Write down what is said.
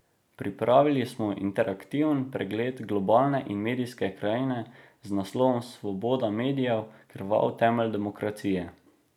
Pripravili smo interaktiven pregled globalne in medijske krajine z naslovom Svoboda medijev, krvav temelj demokracije.